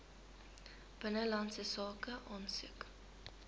binnelandse sake aansoek